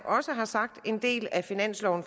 tak